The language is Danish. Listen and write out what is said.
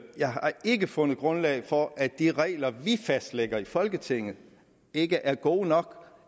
jeg har ikke fundet grundlag for at de regler vi fastlægger i folketinget ikke er gode nok når